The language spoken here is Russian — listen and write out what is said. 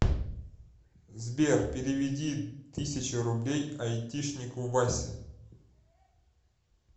сбер переведи тысячу рублей айтишнику васе